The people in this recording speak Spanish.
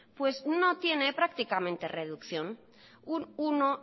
pues no tiene prácticamente reducción un uno